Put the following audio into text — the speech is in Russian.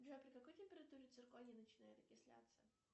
джой при какой температуре цирконий начинает окисляться